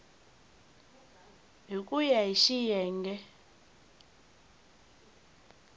hi ku ya hi xiyenge